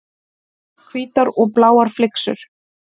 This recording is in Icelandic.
Hvítar og bláar flyksur.